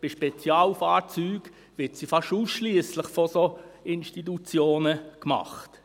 Bei Spezialfahrzeugen wird sie fast ausschliesslich von solchen Institutionen gemacht.